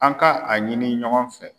An ka a ɲini ɲɔgɔn fɛ.